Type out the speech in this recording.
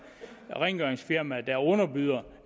rengøringsfirmaer der underbyder